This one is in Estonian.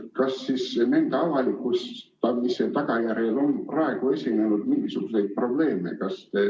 Kas nende avalikustamise tagajärjel on praegu esinenud mingisuguseid probleeme?